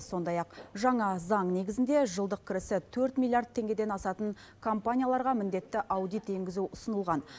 сондай ақ жаңа заң негізінде жылдық кірісі төрт миллиард теңгеден асатын компанияларға міндетті аудит енгізу ұсынылған